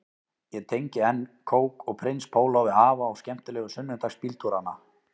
Ég tengi enn kók og prins póló við afa og skemmtilegu sunnudagsbíltúrana